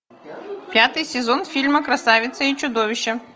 пятый сезон фильма красавица и чудовище